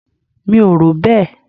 Mi ò rò bẹ́ẹ̀.